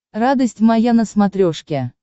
радость моя на смотрешке